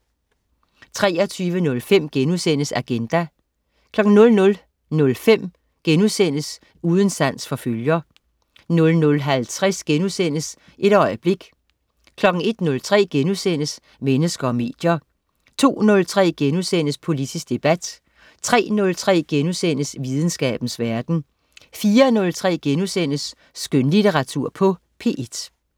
23.05 Agenda* 00.05 Uden sans for følger* 00.50 Et øjeblik* 01.03 Mennesker og medier* 02.03 Politisk debat* 03.03 Videnskabens verden* 04.03 Skønlitteratur på P1*